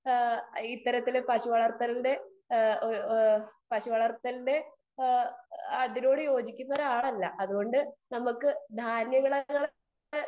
speaker 2 ഇത്തരത്തിലുള്ള പശു വളർത്തലിന്റെ അതിനോട് യോജിക്കുന്ന ഒരാളല്ല അതുകൊണ്ട് നമുക്ക് ധാന്യങ്ങൾ